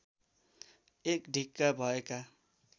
एक ढिक्का भएका